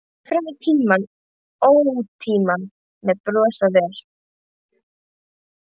Berist fram í tíma og ótíma, með bros á vör.